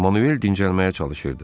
Manuel dincəlməyə çalışırdı.